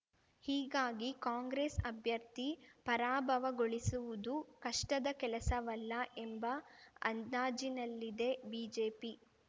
ಹೀಗಾಗಿ ಕಾಂಗ್ರೆಸ್‌ ಅಭ್ಯರ್ಥಿ ಪರಾಭವಗೊಳಿಸುವುದು ಕಷ್ಟದ ಕೆಲಸವಲ್ಲ ಎಂಬ ಅಂದಾಜಿನಲ್ಲಿದೆ ಬಿಜೆಪಿ